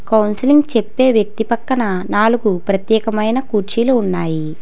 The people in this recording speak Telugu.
కౌన్సిలింగ్ చెప్పే వ్యక్తి పక్కన నాలుగు ప్రత్యేకమైన కుర్చీలు ఉన్నాయి.